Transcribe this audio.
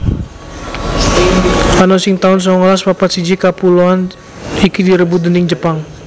Ana ing taun songolas papat siji kapuloan iki direbut déning Jepang